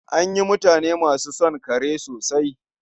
An yi mutane masu son kare sosai.